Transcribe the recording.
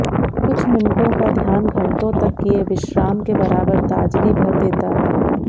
कुछ मिनटों का ध्यान घंटों तक किए विश्राम के बराबर ताजगी भर देता है